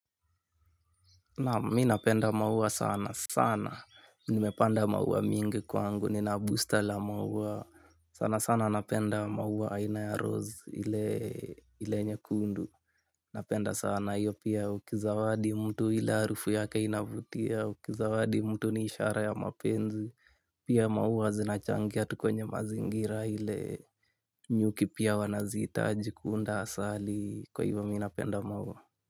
Naam, mimi napenda maua sana sana nimepanda maua mingi kwangu, nina busta la maua sana sana napenda maua aina ya rose ile nyekundu. Napenda sana, hiyo pia ukizawadi mtu ile harufu yake inavutia, ukizawadi mtu ni ishara ya mapenzi. Pia maua zinachangia tu kwenye mazingira ile nyuki pia wanazihitaji kuunda asali kwa hivyo mimi napenda maua.